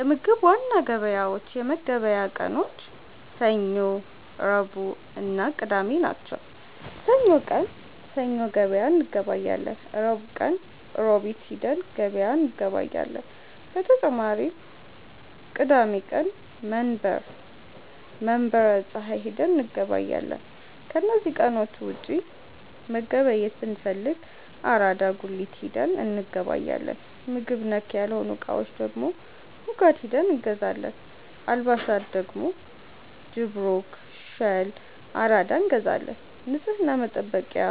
የምግብ ዋና ገበያዎች የመገብያ ቀኖች ሰኞ፣ ረቡዕእና ቅዳሜ ናቸው። ሰኞ ቀን ሰኞ ገበያ እንገበያለን። ረቡዕ ቀን ሮቢት ሂደን ገበያ እንገበያለን። በተጨማሪም ቅዳሜ ቀን መንበረ ፀሀይ ሂደን እንገበያለን። ከነዚህ ቀኖች ውጪ መገብየት ብንፈልግ አራዳ ጉሊት ሂደን እንገበያለን። ምግብ ነክ ያልሆኑ እቃዎች ደግሞ ሙጋድ ሂደን እንገዛለን። አልባሣት ደግሞ ጅብሩክ፣ ሸል፣ አራዳ እንገዛለን። ንፅህና መጠበቂያ